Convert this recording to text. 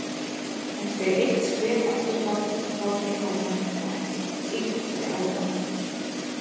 Hún steig eitt skref afturábak og horfði á hann af ýktri aðdáun